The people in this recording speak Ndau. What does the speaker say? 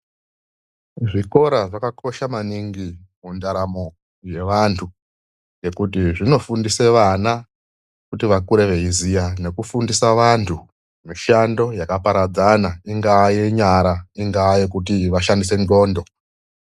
ZVIKORA ZVAKAKOSHA MANINGI MUNDARAMO YEVANTU NEKUTI ZVINOFUNDISA VANA KUTI VAKURE VEIZIYA NEKUFUNDISA VANTU MISHANDO YAKAPARADZANA INGAA YENYARA INGAA YEKUSHANDISA N'ONDO